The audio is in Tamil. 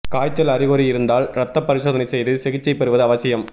காய்ச்சல் அறிகுறி இருந்தால் ரத்த பரிசோதனை செய்து சிகிச்சை பெறுவது அவசியம்